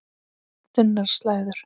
Þunnar slæður.